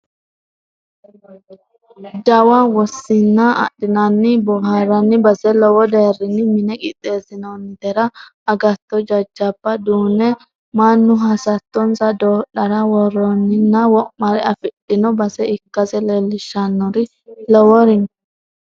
Jawa wosinna adhinanninna booharanni base lowo deerinni mine qixeesinonnitera agatto jajjabba duune mannu hasattonsa doodhara woroninna wo'mare afidhino base ikkase leelishanori lowori no